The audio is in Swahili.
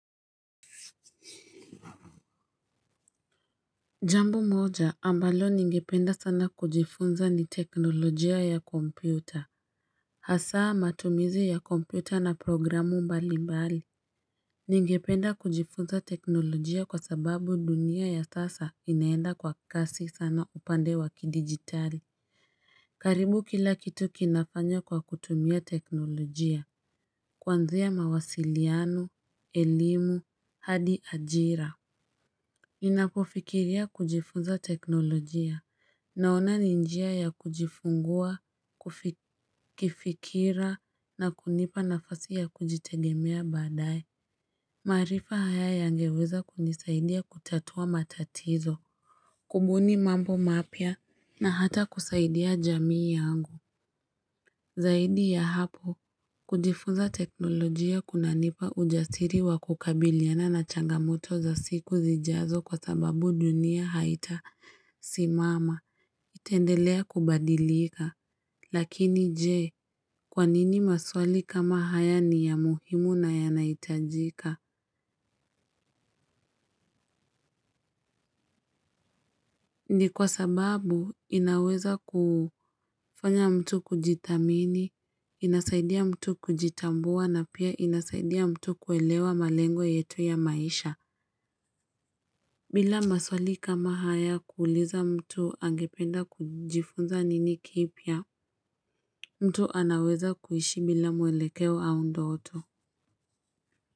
Jambo moja, ambalo ningependa sana kujifunza ni teknolojia ya Kompyuta. Hasaa matumizi ya kompyuta na programu mbali mbali. Ningependa kujifunza teknolojia kwa sababu dunia ya sasa, inaenda kwa kasi sana upande wa kidigitali. Karibu kila kitu kinafanya kwa kutumia teknolojia. Kwanzia mawasiliano, elimu, hadi ajira. Ninapofikiria kujifuza teknolojia, naona ni njia ya kujifungua, kifikira na kunipa nafasi ya kujitegemea badaye. Maarifa haya yangeweza kunisaidia kutatua matatizo. Kubuni mambo mapya, na hata kusaidia jamii yangu. Zaidi ya hapo, kujifuza teknolojia kunanipa ujasiri wa kukabiliana na changamoto za siku zijazo kwa sababu dunia haitasimama. Itaendelea kubadilika. Lakini je? Kwanini maswali kama haya ni ya muhimu na yanaitajika? Ni kwa sababu, inaweza kufanya mtu kujithamini, inasaidia mtu kujitambua na pia inasaidia mtu kuelewa malengo yetu ya maisha. Bila maswali kama haya, kuuliza mtu angependa kujifunza nini kipya, mtu anaweza kuishi bila mwelekeo au ndoto.